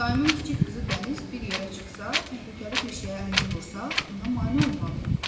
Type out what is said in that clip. Daimin kiçik qızı Dəniz bir yerə çıxsa, təhlükəli bir şeyə əlini vursa, ona mane olmalıyam.